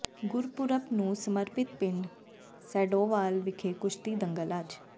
ਗੁਰਪੁਰਬ ਨੂੰ ਸਮਰਪਿਤ ਪਿੰਡ ਸੈਦੋਵਾਲ ਵਿਖੇ ਕੁਸ਼ਤੀ ਦੰਗਲ ਅੱਜ